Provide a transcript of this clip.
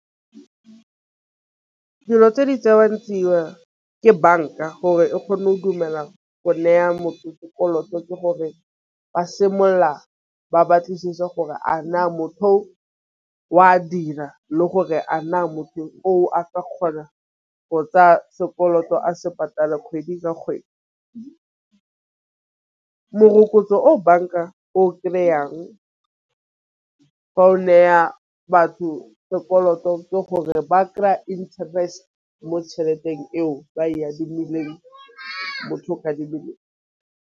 Dilo tse di tsewang tsia ke banka gore e kgone o dumela go neya motho gore lloto ke gore ba simolola ba batlisise gore a na motho o a dira le gore a na motho o aka kgona go tsaya sekoloto a se patale kgwedi ka kgwedi. Morokotso o banka o ka yang fa o neya batho sekoloto ke gore ba kry-a interest mo tšheleteng eo ba e adimileng .